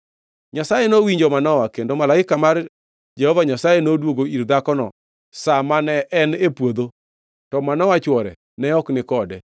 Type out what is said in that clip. Nyasaye nowinjo Manoa, kendo malaika mar Jehova Nyasaye noduogo ir dhako sa ma ne en e puodho; to Manoa chwore ne ok ni kode.